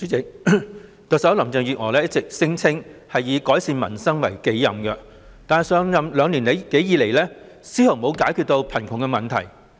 代理主席，特首林鄭月娥一直聲稱以改善民生為己任，但上任兩年多以來，卻絲毫沒有解決貧窮問題。